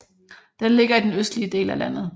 Den ligger i den østlige del af landet